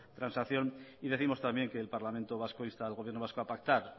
transacción y décimos también que el parlamento vasco insta al gobierno vasco a pactar